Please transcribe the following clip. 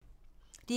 DR2